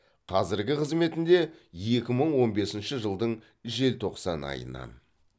қазіргі қызметінде екі мың он бесінші жылдың желтоқсан айынан